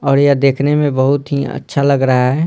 और यह देखने में बहुत ही अच्छा लग रहा है।